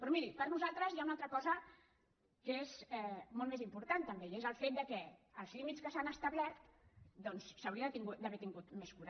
però miri per nosaltres hi ha una altra cosa que és molt més important també i és el fet que en els límits que s’han establert doncs s’hi hauria d’haver tingut més cura